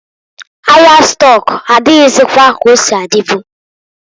Ahia stọk adịghịzịkwa ka osi adịbu.